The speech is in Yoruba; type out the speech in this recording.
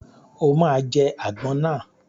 O ma jẹ́ àgbọn náà!